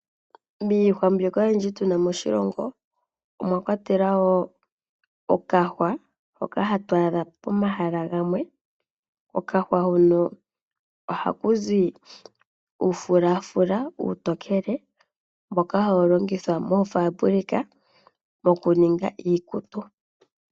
Momiti ndhoka ahatu adha moshilongo omwakwatelwa woo omuti gumwe hagu zi omafulafula omatookele. Ngoka haga longithwa moofaabulika dhokuninga iikutu.